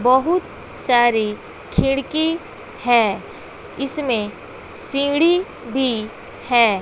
बहुत सारी खिड़की है इसमें सीढ़ी भी है।